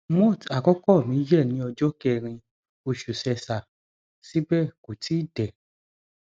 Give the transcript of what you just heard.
moth àkókò mi yẹ ní ọjọ kẹrin oṣù sẹsà síbẹ kò tí ì dé